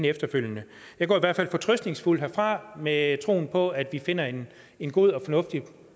efterfølgende jeg går i hvert fald fortrøstningsfuld herfra med troen på at vi finder en en god og fornuftig